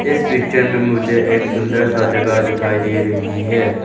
इस पिक्चर में मुझे एक सुंदर सा जगह दिखाई दे रही है।